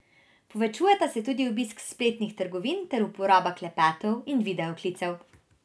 Povečujeta se tudi obisk spletnih trgovin ter uporaba klepetov in video klicev.